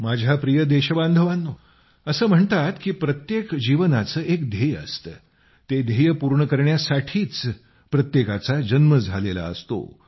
माझ्या प्रिय देशबांधवांनो असे म्हणतात की प्रत्येक जीवनाचे एक ध्येय असते ते ध्येय पूर्ण करण्यासाठीच प्रत्येकाचा जन्म झालेला असतो